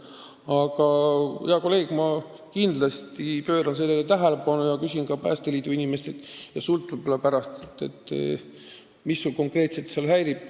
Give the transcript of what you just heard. Aga, hea kolleeg, ma kindlasti pööran sellele tähelepanu ja küsin Päästeliidu inimestelt ja pärast ka sinult, mis sind konkreetselt häirib.